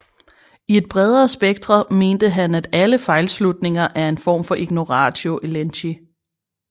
I et bredere spektre mente han at alle fejlslutninger en er form for ignoratio elenchi